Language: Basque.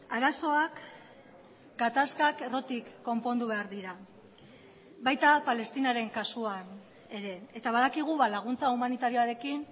arazoak gatazkak errotik konpondu behar dira baita palestinaren kasuan ere eta badakigu laguntza humanitarioarekin